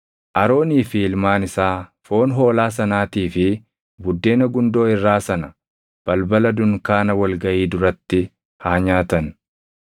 Aroonii fi ilmaan isaa foon hoolaa sanaatii fi buddeena gundoo irraa sana balbala dunkaana wal gaʼii duratti haa nyaatan.